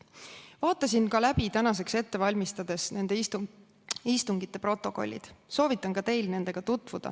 Vaatasin tänaseks ette valmistades läbi nende istungite protokollid ja soovitan ka teil nendega tutvuda.